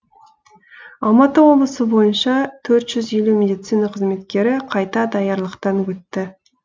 алматы облысы бойынша төрт жүз елу медицина қызметкері қайта даярлықтан өтті